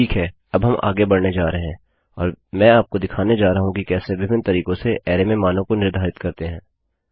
ठीक है अब हम आगे बढ़ने जा रहे हैं और मैं आपको दिखाने जा रहा हूँ कि कैसे विभिन्न तरीकों से अरैमें मानों को निर्धारित करते हैं